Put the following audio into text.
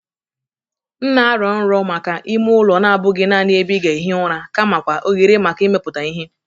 M na-arọ nrọ maka ime ụlọ na-abụghị naanị ebe ị ga-ehi ụra kamakwa ohere maka imepụta ihe.